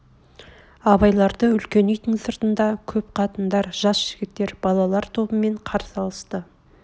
абайларды үлкен үйдің сыртында көп қатындар жас жігіттер балалар тобымен қарсы алысты